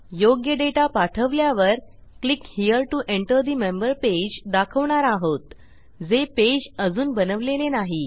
योग्य डेटा पाठवल्यावर click here to enter the member page दाखवणार आहोत जे पेज अजून बनवलेले नाही